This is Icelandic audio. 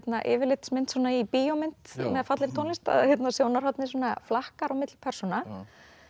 yfirlitsmynd í bíómynd með fallegri tónlist að sjónarhornið flakkar á milli persóna